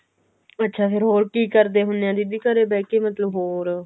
ਅੱਛਾ ਫ਼ੇਰ ਹੋਰ ਕੀ ਕਰਦੇ ਹੁੰਨੇ ਓ ਦੀਦੀ ਘਰੇ ਬਿਹ ਕੇ ਮਤਲਬ ਹੋਰ